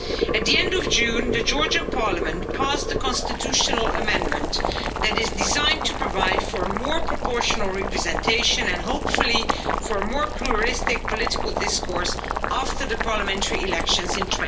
At the end of June the Georgian parliament passed a constitutional amendment that is designed to provide for more proportional representation and, hopefully, for more pluralistic political discourse after the parliamentary elections in